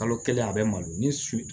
Kalo kelen a bɛ malo ni su